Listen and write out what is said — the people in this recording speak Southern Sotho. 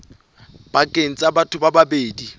pakeng tsa batho ba babedi